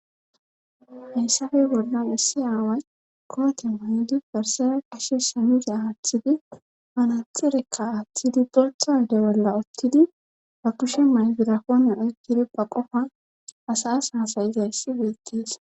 hayssafey bollan issi aaway koote maydi barsera qashe samuse aaththidi manathirekka aaththidi borthawde bolla ottidi ba kushe mayzirakone oykkidi ba qofan asas hasayizayssi beettees